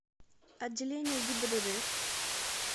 отделение гибдд